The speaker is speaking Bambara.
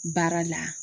Baara la